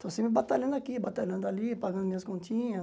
Estou sempre batalhando aqui, batalhando ali, pagando minhas continhas.